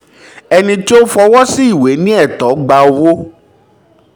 ẹni tó fọwọ́ sí ìwé ní ẹ̀tọ́ gba owó